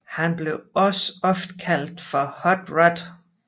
Han blev også ofte kaldt for Hot Rod